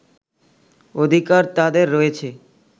অধিকার তাদের রয়েছে